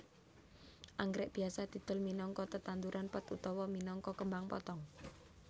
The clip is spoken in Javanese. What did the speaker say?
Anggrèk biasa didol minangka tetanduran pot utawa minangka kembang potong